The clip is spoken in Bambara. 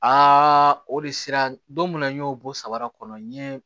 Aa o de sera don min na n y'o bɔ saba kɔnɔ n ye